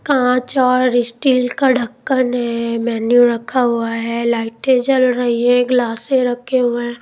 कांच और स्टील का ढक्कन है मेनू रखा हुआ है लाइट जल रही है गलासे रखे हुए है।